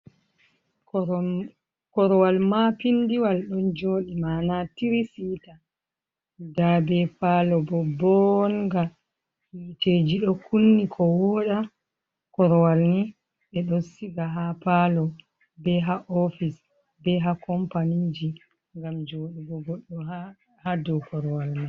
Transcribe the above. korwal maa pindiwal ɗon joɗi, ma'ana tiri siita nda be palo bo bonga. Hiteeji ɗo kunni ko wooɗa, korwal ni ɓe ɗo siga ha palo, be ha ofice, be ha kompaniiji ngam joɗugo goɗɗo ha do korwal man.